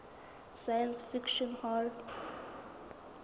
science fiction hall